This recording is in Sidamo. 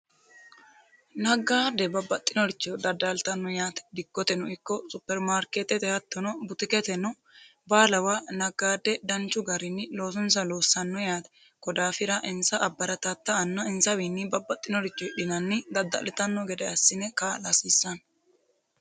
naggaade babbaxxinoricho daddaaltanno yaate dikkoteno ikko supermaarkeetete hattono butikete no baalawa naggaade danchu garinni loosunsa loossanno yaate kodaafira insa abbaratatta anna insawiinni babbaxxinorichi hidhinanni dadda'litanno gede assine kaa'la hasiissanno